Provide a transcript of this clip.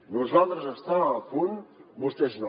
nosaltres estàvem a punt vostès no